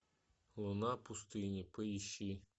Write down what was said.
луна пустыни поищи